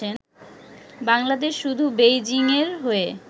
বাংলাদেশ শুধু বেইজিংয়ের হয়ে